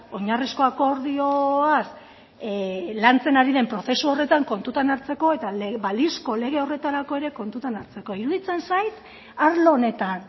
oinarrizko akordioaz lantzen ari den prozesu horretan kontutan hartzeko eta balizko lege horretarako ere kontutan hartzeko iruditzen zait arlo honetan